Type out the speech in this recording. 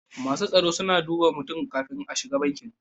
Masu tsaro suna duba mutum kafin ka shiga banki.